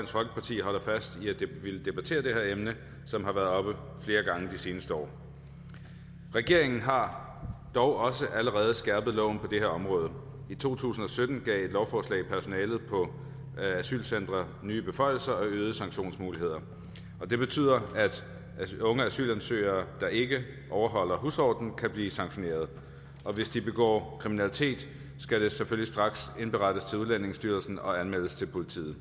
folkeparti holder fast i at ville debattere det her emne som har været oppe flere gange i de seneste år regeringen har dog også allerede skærpet loven på det her område i to tusind og sytten lovforslag personalet på asylcentrene nye beføjelser og øgede sanktionsmuligheder og det betyder at unge asylansøgere der ikke overholder husordenen kan blive sanktioneret og hvis de begår kriminalitet skal det selvfølgelig straks indberettes til udlændingestyrelsen og anmeldes til politiet